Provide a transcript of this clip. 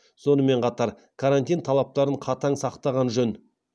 сонымен қатар карантин талаптарын қатаң сақтаған жөн